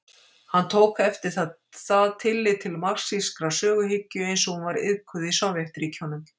Hann tók eftir það tillit til marxískrar söguhyggju eins og hún var iðkuð í Sovétríkjunum.